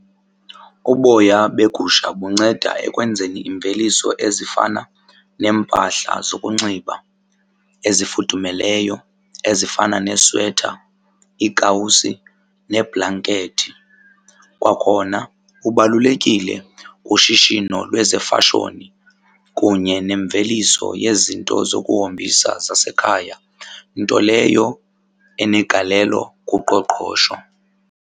Uboya begusha bunceda ekwenzeni imveliso ezifana neempahla zokunxiba ezifudumeleyo, ezifana neswetha, iikawusi neebhlankethi. Kwakhona ubalulekile kushishino lwezefashoni kunye nemveliso yezinto zokuhombisa zasekhaya nto leyo enegalelo kuqoqosho.